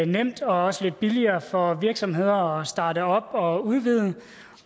nemt og også lidt billigere for virksomheder at starte op og udvide